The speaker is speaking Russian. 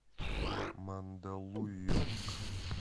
мандалуйонг